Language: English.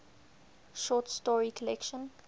short story collection